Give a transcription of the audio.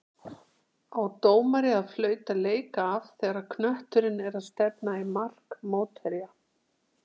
Á dómari að flauta leik af þegar knötturinn er að stefna í mark mótherja?